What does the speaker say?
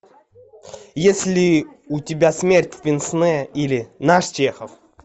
есть ли у тебя смерть в пенсне или наш чехов